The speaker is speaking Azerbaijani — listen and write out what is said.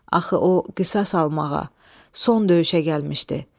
Axı o qisas almağa, son döyüşə gəlmişdi.